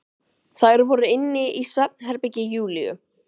Þær voru inni í svefnherbergi Júlíu.